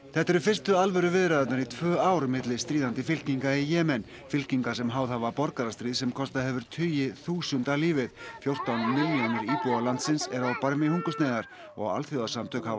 þetta eru fyrstu alvöru viðræðurnar í tvö ár milli stríðandi fylkinga í Jemen fylkinga sem háð hafa borgarastríð sem kostað hefur tugi þúsunda lífið fjórtán milljónir íbúa landsins eru á barmi hungursneyðar og alþjóðasamtök hafa